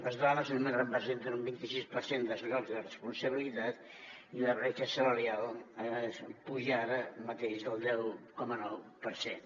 les dones només representen un vint i sis per cent dels llocs de responsabilitat i la bretxa salarial puja ara mateix del deu coma nou per cent